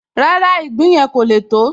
Rárá, ìgbín yẹn kò le tó